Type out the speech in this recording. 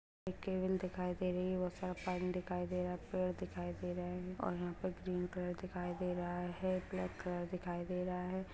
एक केवल दिखाई दे रही है बहुत सारा पानी दिखाई दे रहा पेड़ दिखाई दे रहे और यहां पर ग्रीन कलर दिखाई दे रहा है ब्लैक कलर दिखाई दे रहा है।